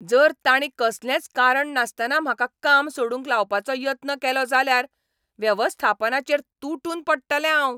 जर तांणी कसलेंच कारण नासतना म्हाका काम सोडूंक लावपाचो यत्न केलो जाल्यार वेवस्थापनाचेर तुटून पडटलें हांव.